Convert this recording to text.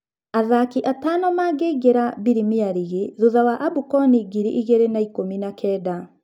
Athaki atano mangĩingĩra Birimia Rigi thutha wa Abukoni ngiri igĩrĩ na ikũmi na kenda.